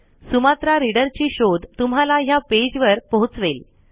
Sumatra reader ची शोध तुम्हाला हया पेज वर पोहोचवेल